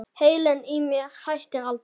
Heilinn í mér hættir aldrei.